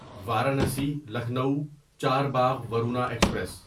Varanasi Lucknow Charbagh Varuna express